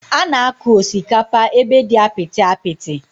Ánà akụ osikapa ébé dị apịtị apịtị